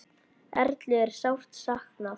Erlu er sárt saknað.